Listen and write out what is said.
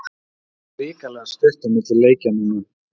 Það er hrikalega stutt á milli leikja núna.